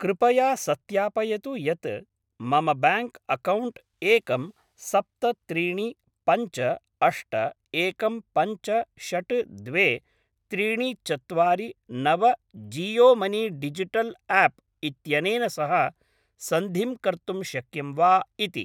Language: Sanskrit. कृपया सत्यापयतु यत् मम ब्याङ्क् अक्कौण्ट् एकं सप्त त्रीणि पञ्च अष्ट एकं पञ्च षड् द्वे त्रीनि चत्वारि नव जीयो मनी डिजिटल् आप् इत्यनेन सह सन्धिं कर्तुं शक्यं वा इति।